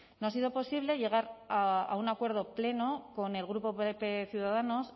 no ha sido posible llegar a un acuerdo pleno con el grupo pp ciudadanos